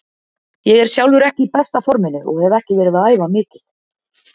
Ég er sjálfur ekki í besta forminu og hef ekki verið að æfa mikið.